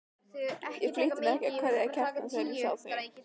Ég flýtti mér að kveðja Kjartan þegar ég sá þig.